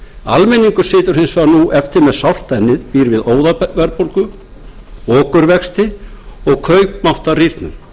almenningur situr hins vegar nú eftir með sárt ennið býr við óðaverðbólgu okurvexti og kaupmáttarrýrnun